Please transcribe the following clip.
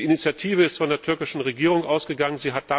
Die Initiative ist von der türkischen Regierung ausgegangen.